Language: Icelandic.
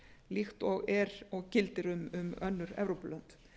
líkt og er og gildir um önnur evrópulönd